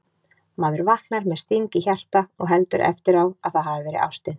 Maður vaknar með sting í hjarta og heldur eftir á að það hafi verið ástin